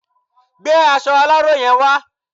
Gbé aṣọ aláró yen wa